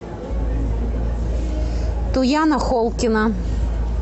туяна холкина